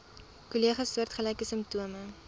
kollegas soortgelyke simptome